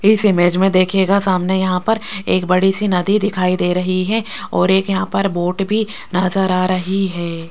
इस इमेज में देखिएगा सामने यहां पर एक बड़ी सी नदी दिखाई दे रही है और एक यहां पर बोट भी नजर आ रही है।